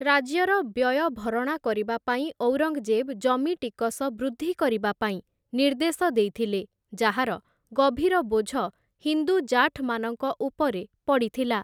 ରାଜ୍ୟର ବ୍ୟୟ ଭରଣା କରିବା ପାଇଁ ଔରଙ୍ଗଜେବ୍‌ ଜମି ଟିକସ ବୃଦ୍ଧି କରିବା ପାଇଁ ନିର୍ଦ୍ଦେଶ ଦେଇଥିଲେ, ଯାହାର ଗଭୀର ବୋଝ ହିନ୍ଦୁ ଜାଠ୍‌ମାନଙ୍କ ଉପରେ ପଡ଼ିଥିଲା ।